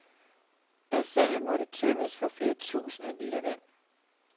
Bassinet måtte tømmes for flere tusinde liter vand.